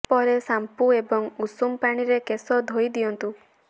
ପରେ ସାମ୍ପୁ ଏବଂ ଉଷୁମ ପାଣିରେ କେଶ ଧୋଇ ଦିଅନ୍ତୁ